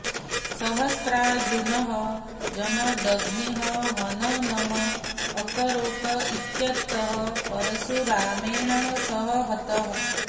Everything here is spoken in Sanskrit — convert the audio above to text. सहस्रार्जुनः जमदग्नेः हननम् अकरोत् इत्यतः परशुरामेण सः हतः